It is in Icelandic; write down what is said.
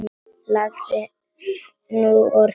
Lagði nú orð í belg.